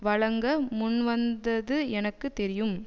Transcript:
வழங்க முன்வந்தது எனக்கு தெரியும்